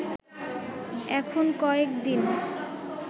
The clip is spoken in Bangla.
এখন কয়েক দিন